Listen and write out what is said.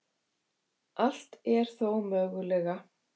Allt er þó mögulega